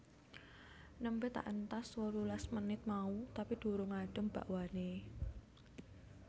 Nembe tak entas wolulas menit mau tapi durung adem bakwane